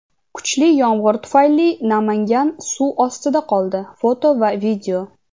Kuchli yomg‘ir tufayli Namangan suv ostida qoldi (foto va video).